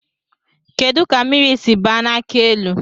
Kedụ ka mmiri si baa n'akị elu?